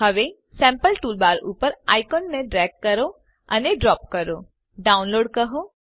હવે sample toolbar ઉપર આઇકોનને ડ્રેગ અને ડ્રોપ કરો ડાઉનલોડ્સ કહો